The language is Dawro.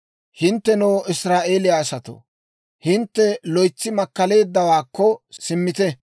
Hinttenoo Israa'eeliyaa asatoo, hintte loytsi makkaleeddawaakko simmite.